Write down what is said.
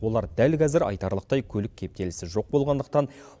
олар дәл қазір айтарлықтай көлік кептелісі жоқ болғандықтан